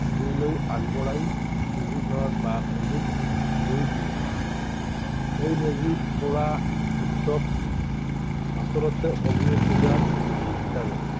জুইলৈ আগবঢ়াই মেজিঘৰ বা মেজিত জুই দিয়ে। এই মেজিত পুৰা উৎসৱ আচলতে অগ্নিপূজা